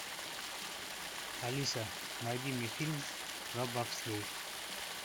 алиса найди мне фильм про бобслей